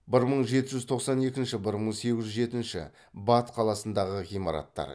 бір мың жеті жүз тоқсан екінші бір мың сегіз жүз жетінші бат қаласындағы ғимараттар